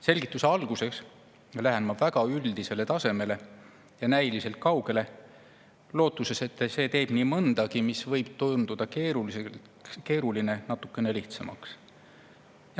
Selgituse alguseks lähen ma väga üldisele tasemele ja näiliselt kaugele, lootuses, et see teeb nii mõndagi, mis võib tunduda keeruline, natukene lihtsamaks.